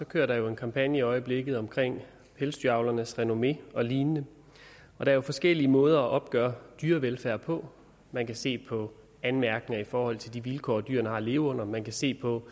kører der jo en kampagne i øjeblikket omkring pelsdyravlernes renommé og lignende der er forskellige måder at opgøre dyrevelfærd på man kan se på anmærkninger i forhold til de vilkår dyrene har at leve under man kan se på